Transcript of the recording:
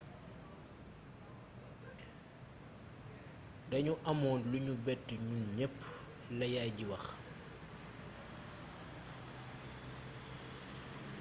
danu amoon lu nu bett ñun ñepp la yaay ji wax